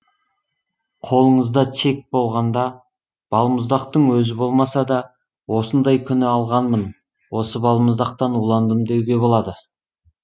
қолыңызда чек болғанда балмұздақтың өзі болмаса да осындай күні алғанмын осы балмұздақтан уландым деуге болады